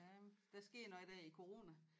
Ja der skete noget der i corona